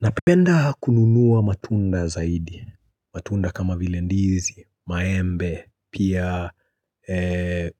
Napenda kununua matunda zaidi, matunda kama vile ndizi, maembe, pia